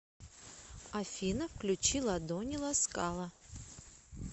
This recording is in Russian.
афина включи ладони ласкала